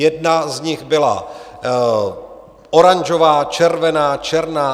Jedna z nich byla oranžová, červená, černá.